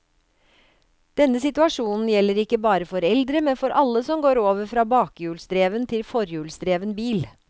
Denne situasjonen gjelder ikke bare for eldre, men for alle som går over fra bakhjulsdreven til forhjulsdreven bil.